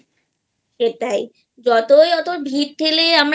এটাই যতই অত ভিড় ঠেলে আমরা